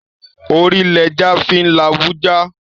Ori l'eja fin la ibu ja